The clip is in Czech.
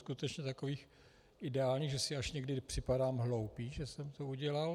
Skutečně takových ideálních, že si až někdy připadám hloupý, že jsem to udělal.